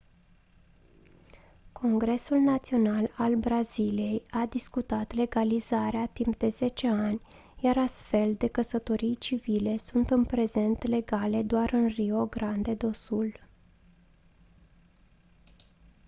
congresul național al braziliei a discutat legalizarea timp de 10 ani iar astfel de căsătorii civile sunt în prezent legale doar în rio grande do sul